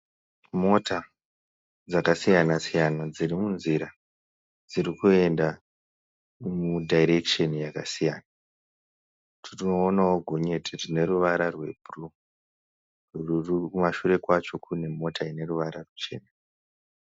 Mota dzakasiyana siyana dzirimunzira dzirikuenda mudhairekisheni yakasiyana tinoonawo gonyeti rine ruvara rwebhuruu kumashure kwacho kune mota ine ruvara ruchena.